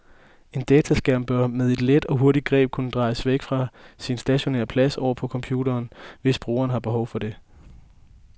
En dataskærm bør med et let og hurtigt greb kunne drejes væk fra sin stationære plads oven på computeren, hvis brugeren har behov for det.